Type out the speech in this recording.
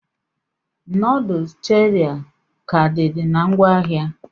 Noodles Cherie ka did na ngwaahịa?